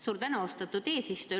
Suur tänu, austatud eesistuja!